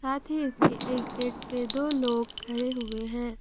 अथी इसके एक गेट पे दो लोग खड़े हुए हैं।